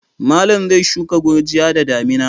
Malam zai shuka gurjiya da damina.